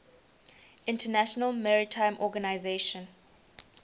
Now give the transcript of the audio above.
international maritime organization